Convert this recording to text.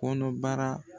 Kɔnɔbara